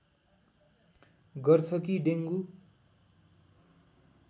गर्छ कि डेङ्गु